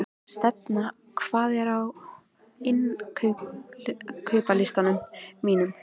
Stefana, hvað er á innkaupalistanum mínum?